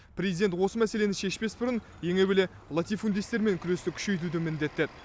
президент осы мәселені шешпес бұрын ең әуелі латифундистермен күресті күшейтуді міндеттеді